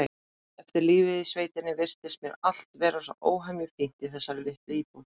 Eftir lífið í sveitinni virtist mér allt vera svo óhemju fínt í þessari litlu íbúð.